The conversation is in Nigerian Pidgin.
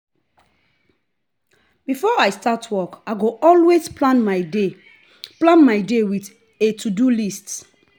before i start work i go always plan my day plan my day with a to-do list.